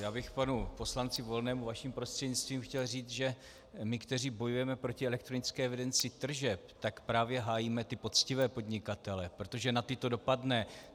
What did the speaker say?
Já bych panu poslanci Volnému vaším prostřednictvím chtěl říct, že my, kteří bojujeme proti elektronické evidenci tržeb, tak právě hájíme ty poctivé podnikatele, protože na ty to dopadne.